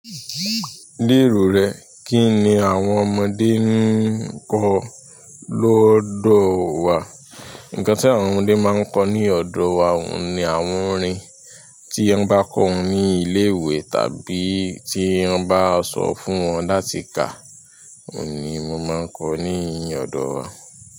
Ní èrò rẹ, kíni àwọn ọmọdé ń kọ́ lódò wa? Ǹkan tí àwọn ọmọdé máa ń kọ ní ọ̀dọ̀ wa ní àwọn orin. Tí wọ́n bá kọ wọn ní ilé ìwé tàbí tí wọ́n bá sọ fún wọn láti kàá, òun ni mo máa ń kọ ní ọ̀dọ̀ wa.